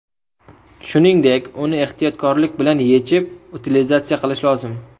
Shuningdek, uni ehtiyotkorlik bilan yechib utilizatsiya qilish lozim.